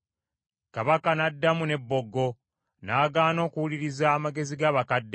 Kabaka n’addamu n’ebboggo. N’agaana okuwuliriza amagezi g’abakadde,